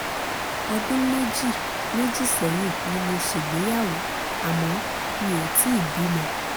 ọdún méjì méjì sẹ́yìn ni mo ṣègbéyàwó àmọ́ mi ò tíì bímọ